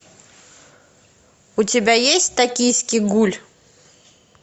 у тебя есть токийский гуль